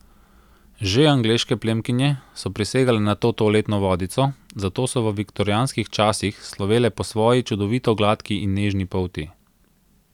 Že angleške plemkinje so prisegale na to toaletno vodico, zato so v viktorijanskih časih slovele po svoji čudovito gladki in nežni polti.